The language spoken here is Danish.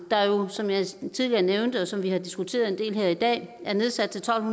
der jo som jeg tidligere nævnte og som vi har diskuteret en del her i dag er nedsat til tolv